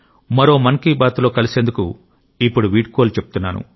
మరో మన్ కీ బాత్ లో కలిసేందుకు ఇప్పుడు వీడ్కోలు చెప్తున్నాను